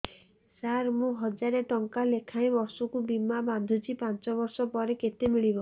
ସାର ମୁଁ ହଜାରେ ଟଂକା ଲେଖାଏଁ ବର୍ଷକୁ ବୀମା ବାଂଧୁଛି ପାଞ୍ଚ ବର୍ଷ ପରେ କେତେ ମିଳିବ